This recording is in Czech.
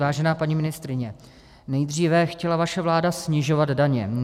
Vážená paní ministryně, nejdříve chtěla vaše vláda snižovat daně.